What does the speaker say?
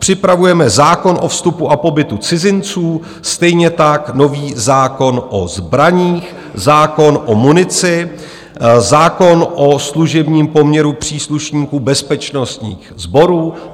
Připravujeme zákon o vstupu a pobytu cizinců, stejně tak nový zákon o zbraních, zákon o munici, zákon o služebním poměru příslušníků bezpečnostních sborů.